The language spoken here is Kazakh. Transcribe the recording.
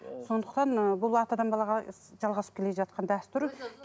сондықтан ы бұл атадан балаға жалғасып келе жатқан дәстүр